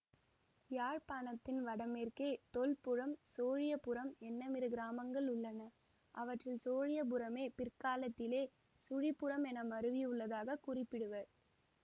யாழ்ப்பாணத்தின் வடமேற்கே தொல்புரம் சோழியபுரம் என்னுமிரு கிராமங்கள் உள்ளன அவற்றில் சோழியபுரமே பிற்காலத்திலே சுழிபுரம் என மருவி உள்ளதாக குறிப்பிடுவர்